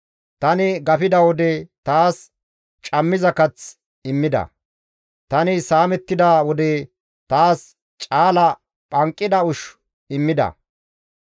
Tani gafida wode taas cammiza kath immida. Tani saamettida wode taas caala phanqida ushshu immida.